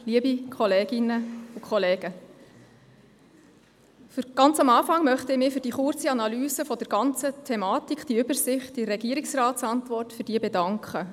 Zu Beginn möchte ich mich für diese kurze Analyse der ganzen Thematik, diese Übersicht in der Regierungsratsantwort, bedanken.